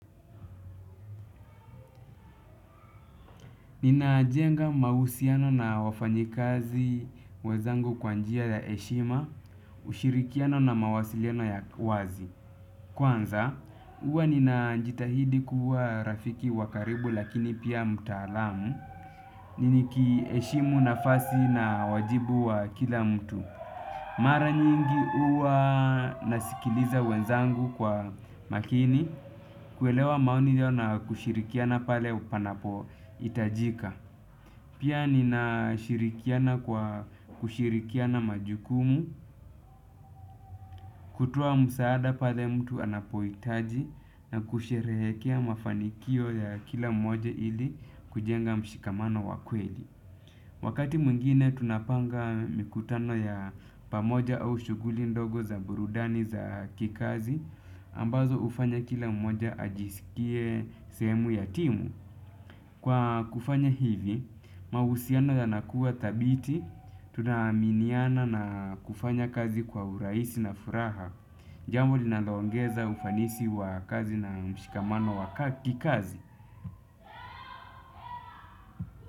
Ninajenga mausiano na wafanyikazi wezangu kwa njia ya heshima, ushirikiano na mawasiliano ya wazi. Kwanza, uwa ninajitahidi kuwa rafiki wa karibu lakini pia mtalamu, nikiheshimu nafasi na wajibu wa kila mtu. Mara nyingi uwa nasikiliza wenzangu kwa makini, kuelewa maoni hiyo na kushirikiana pale panapo itajika. Pia nina shirikiana kwa kushirikiana majukumu, kutoa msaada pale mtu anapohitaji na kusherehekea mafanikio ya kila mmoja ili, kujenga mshikamano wa kweli. Wakati mwigine tunapanga mikutano ya pamoja au shughuli ndogo za burudani za kikazi ambazo ufanya kila mmoja ajisikie sehemu ya timu. Kwa kufanya hivi, mahusiano yanakua thabiti, tunaaminiana na kufanya kazi kwa uraisi na furaha, jambo linalongeza ufanisi wa kazi na mshikamano wa kikazi.